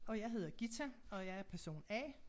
Og jeg hedder Gitta og jeg er person A